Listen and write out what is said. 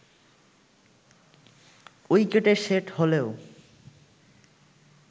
উইকেটে সেট হলেও